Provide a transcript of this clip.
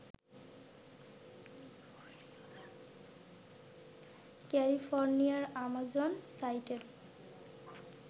ক্যালিফোর্নিয়ার আমাজন সাইটের